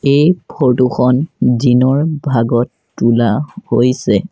এই ফটো খন দিনৰ ভাগত তোলা হৈছে।